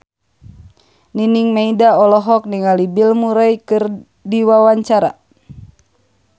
Nining Meida olohok ningali Bill Murray keur diwawancara